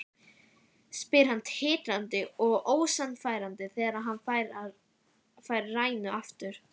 spyr hann titrandi og ósannfærandi þegar hann fær rænuna aftur.